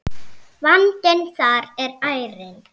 Vandinn þar er ærinn.